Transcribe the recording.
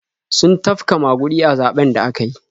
Sun tafka maguɗi a zaɓen da aka yi.